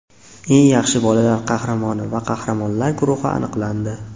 Eng yaxshi bolalar qahramoni va qahramonlar guruhi aniqlandi.